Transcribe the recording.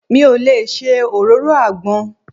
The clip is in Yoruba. Mi ò lè ṣe òróró àgbọn.